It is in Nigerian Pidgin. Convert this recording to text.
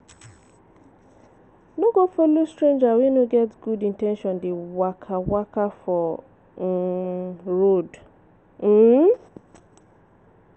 No go follow stranger wey no get good in ten tion dey waka-waka for um road. um